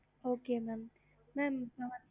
okey mam